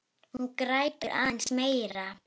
Hún grætur aðeins meira.